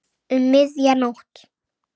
Um miðja nótt.